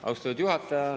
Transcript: Austatud juhataja!